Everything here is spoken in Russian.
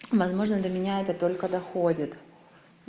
возможно для меня это только доходит